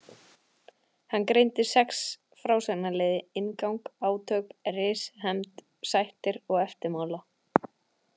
Hann greindi sex frásagnarliði: inngang, átök, ris, hefnd, sættir og eftirmála.